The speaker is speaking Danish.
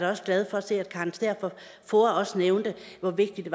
også glad for at se at karen stæhr fra foa også nævnte hvor vigtigt